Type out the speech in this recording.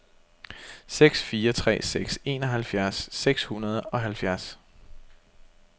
seks fire tre seks enoghalvfjerds seks hundrede og halvfjerds